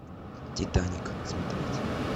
титаник смотреть